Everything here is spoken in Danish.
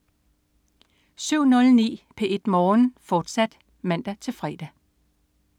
07.09 P1 Morgen, fortsat (man-fre)